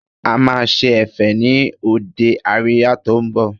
A máa ṣe Ẹ̀fẹ̀ ni òde àríyá tó ń bọ̀